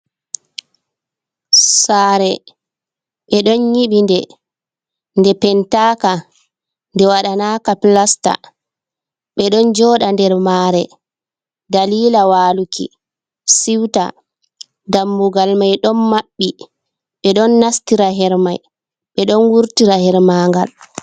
Sare ɓeɗon yiɓi nde, nde pentaka, nde waɗanaka pilesta. ɓeɗon joɗa nder mare dalila waluki siwta dammugal may ɗon maɓɓi, ɓeɗon nastira hermai, ɓe ɗon wurtira hermagal.